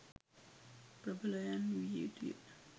ප්‍රභලයන් විය යුතුය.